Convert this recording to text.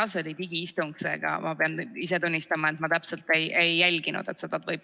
See oli digiistung, seega ma pean ise tunnistama, et ma täpselt ka ei jälginud seda.